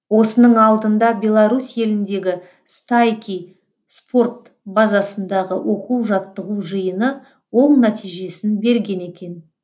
осының алдында белорусь еліндегі стайки спорт базасындағы оқу жаттығу жиыны оң нәтижесін берген екен